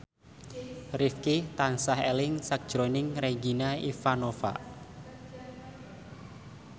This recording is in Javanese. Rifqi tansah eling sakjroning Regina Ivanova